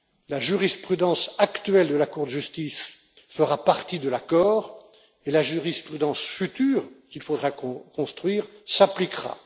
La jurisprudence actuelle de la Cour de justice fera partie de l'accord et la jurisprudence future qu'il faudra construire s'appliquera.